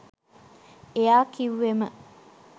එයා කිව්වෙම